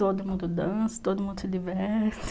Todo mundo dança, todo mundo se diverte.